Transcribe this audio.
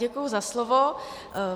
Děkuji za slovo.